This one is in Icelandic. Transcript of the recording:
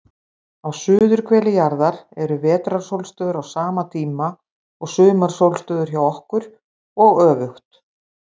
Á suðurhveli jarðar eru vetrarsólstöður á sama tíma og sumarsólstöður hjá okkur, og öfugt.